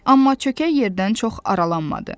Amma çökək yerdən çox aralanmadı.